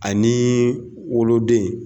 Aniii woloden.